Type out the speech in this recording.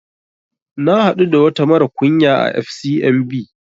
Na haɗu da wata mara kunya à FCMB